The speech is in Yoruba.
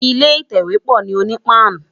Ilé itèwé pò ni Onipan